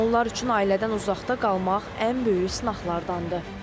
Onlar üçün ailədən uzaqda qalmaq ən böyük sınaqlardandır.